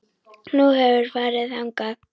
Nú, hefurðu farið þangað?